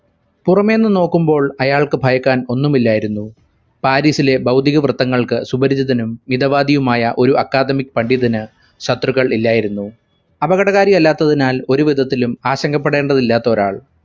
പുറമെന്നു നോക്കുമ്പോൾ അയാൾക്കു ഭയക്കാൻ ഒന്നുമില്ലായിരുന്നു പാരിസിലെ ഭൗതികവൃത്തങ്ങൾക്ക് സുപരിചിതനും ഇടവാദിയുമായ ഒരു academic പണ്ഡിതന് ശത്രുക്കൾ ഇല്ലായിരുന്നു അപകടകാരി അല്ലാത്തതിനാൽ ഒരു വിധത്തിലും ആശങ്കപെടേണ്ടതില്ലാത്ത ഒരാൾ